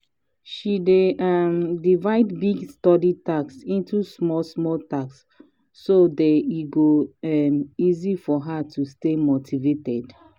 she dey um divide big study task into small small task so day e go um easy for her to stay motivated.